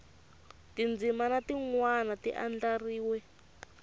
tindzimana tin wana ti andlariwe